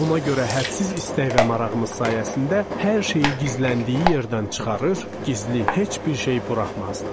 Buna görə hədsiz istək və marağımız sayəsində hər şeyi gizləndiyi yerdən çıxarır, gizli heç bir şey buraxmazdıq.